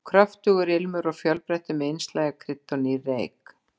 Kröftugur ilmur og fjölbreyttur, með innslagi af kryddi og nýrri eik.